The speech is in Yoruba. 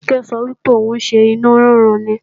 Kíkẹ́ sọ wípé ò ń ṣenú rúnrun ni